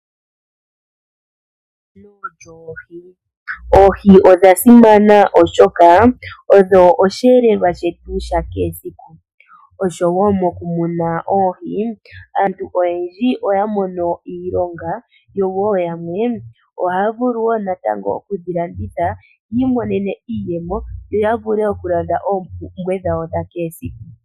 Oohi odha simana oshoka odho osheelelwa shetu shakehe esiku, oshowo okumuna oohi aantu oyendji oya mono iilonga nayamwe ohaya vulu oku kedhi landitha yi imonene iiyemo yo yavule okulanda oompumbwe dhawo dha kehe esiku.